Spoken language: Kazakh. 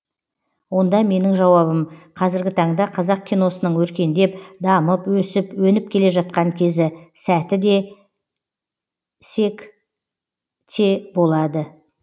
онда менің жауабым қазіргі таңда қазақ киносының өркендеп дамып өсіп өніп келе жатқан кезі сәті де сек те болады